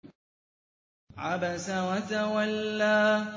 عَبَسَ وَتَوَلَّىٰ